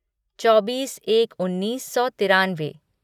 चौबीस एक उन्नीस सौ तिरानवे